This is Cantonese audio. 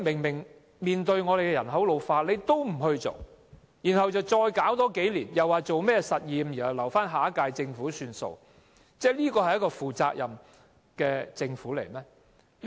面對人口老化問題，政府還有多花數年時間進行試驗，更要留待下一屆政府處理，試問這是一個負責任的政府嗎？